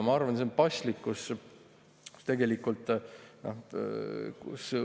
Ma arvan, et see on paslikkus.